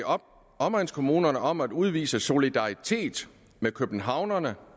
omegnskommunerne om at udvise solidaritet med københavnerne